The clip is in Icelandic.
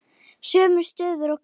Sömu stöðu og karlar.